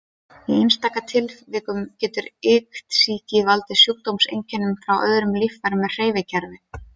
Í einstaka tilvikum getur iktsýki valdið sjúkdómseinkennum frá öðrum líffærum en hreyfikerfi.